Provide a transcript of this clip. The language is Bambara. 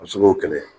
A bɛ se k'o kɛlɛ